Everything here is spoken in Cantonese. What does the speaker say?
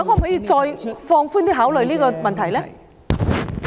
局長可否放寬考慮這個問題呢？